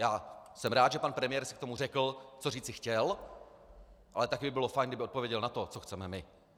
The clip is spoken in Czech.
Já jsem rád, že pan premiér si k tomu řekl, co říci chtěl, ale také by bylo fajn, kdyby odpověděl na to, co chceme my.